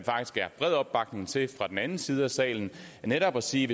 bred opbakning til fra den anden side af salen netop at sige